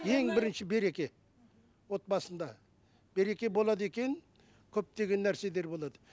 ең бірінші береке отбасында береке болады екен көптеген нәрселер болады